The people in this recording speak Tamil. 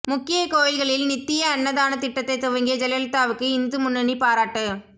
முக்கிய கோயில்களில் நித்திய அன்னதானத் திட்டத்தை துவங்கிய ஜெயலலிதாவுக்கு இந்து முன்னணி பாராட்டு